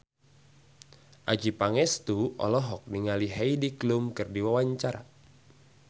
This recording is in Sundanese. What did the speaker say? Adjie Pangestu olohok ningali Heidi Klum keur diwawancara